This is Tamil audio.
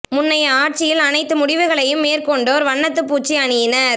முன்னைய ஆட்சியில் அனைத்து முடிவுகளையும் மேற்கொண்டோர் வண்ணத்துப் பூச்சி அணியினர்